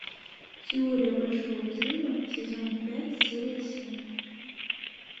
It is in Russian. теория большого взрыва сезон пять серия семь